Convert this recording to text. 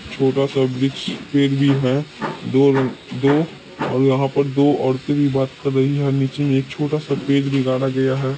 यहाँ पर दो औरते भी बात कर रही है और नीचे मे छोटा-सा पेड़ भी गाड़ा गया है।